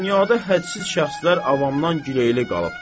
Dünyada hədsiz şəxslər avamdan giləyli qalıbdır.